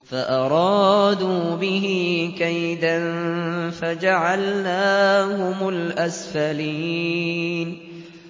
فَأَرَادُوا بِهِ كَيْدًا فَجَعَلْنَاهُمُ الْأَسْفَلِينَ